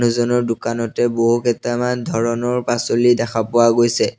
দোকানতে বহুকেইটামান ধৰণৰ পাচলি দেখা পোৱা গৈছে।